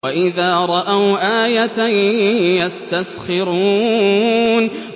وَإِذَا رَأَوْا آيَةً يَسْتَسْخِرُونَ